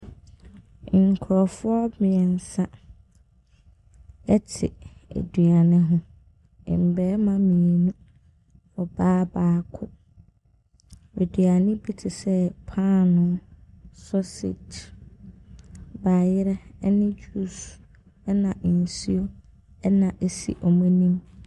Nkurɔfoɔ mmiɛnsa te eduane ho, mmarima mmienu, ɔbaa baako, aduane bi te sɛ paano, sausage, bayerɛ ne juice na nsuo na ɛsi wɔn anim.